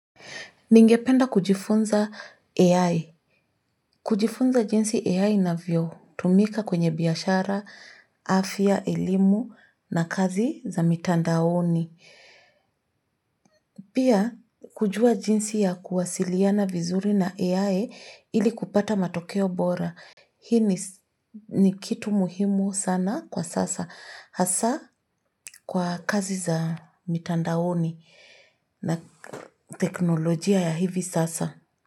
Ningependa kujifunza AI. Kujifunza jinsi AI inavyo tumika kwenye biashara, afya, elimu na kazi za mitandaoni. Pia kujua jinsi ya kuwasiliana vizuri na AI ili kupata matokeo bora. Hii ni kitu muhimu sana kwa sasa. Hasa kwa kazi za mitandaoni na teknolojia ya hivi sasa.